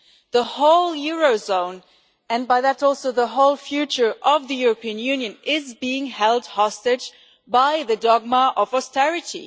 The whole Eurozone, and hence also the whole future of the European Union, is being held hostage by the dogma of austerity.